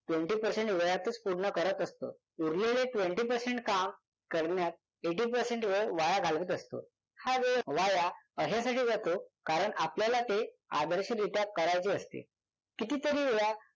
twenty percent वेळातच पूर्ण करत असतो. उरलेलले twenty percent काम करण्यात eighty percent वेळ वाया घालवत असतो. हा वेळ वाया अशासाठी जातो कारण आपल्याला ते आदर्श रित्या करायचे असते. कितीतरी वेळा